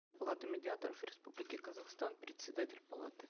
палаты медиаторов республики казахстан председатель палаты